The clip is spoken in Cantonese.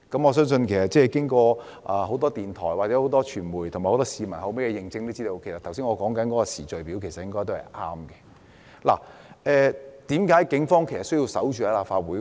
我相信經過很多電台、傳媒或市民的認證後，我剛才所述的時序應該是正確的。為何警方要守在立法會門前？